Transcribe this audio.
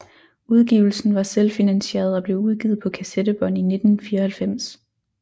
Udgivelsen var selvfinansieret og blev udgivet på kassettebånd i 1994